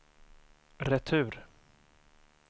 retur